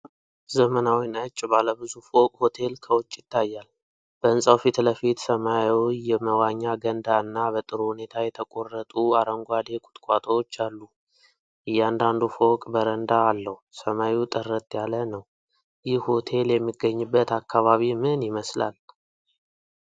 ዘመናዊ፣ ነጭ ባለብዙ ፎቅ ሆቴል ከውጭ ይታያል። በህንፃው ፊት ለፊት ሰማያዊ የመዋኛ ገንዳ እና በጥሩ ሁኔታ የተቆረጡ አረንጓዴ ቁጥቋጦዎች አሉ። እያንዳንዱ ፎቅ በረንዳ አለው። ሰማዩ ጥርት ያለ ነው። ይህ ሆቴል የሚገኝበት አካባቢ ምን ይመስላል?